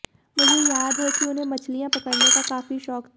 मुझे याद है कि उन्हें मछलियां पकड़ने का काफी शौक था